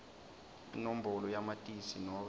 inombolo yamatisi nobe